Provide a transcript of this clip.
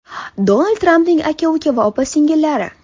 Donald Trampning aka-uka va opa-singillari.